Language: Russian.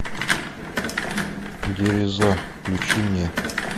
дереза включи мне